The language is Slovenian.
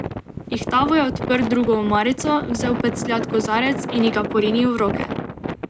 Ihtavo je odprl drugo omarico, vzel pecljat kozarec in ji ga porinil v roke.